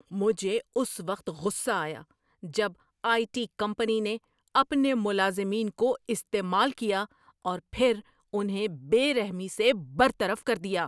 مجھے اس وقت غصہ آیا جب آئی ٹی کمپنی نے اپنے ملازمین کو استعمال کیا اور پھر انہیں بے رحمی سے برطرف کر دیا۔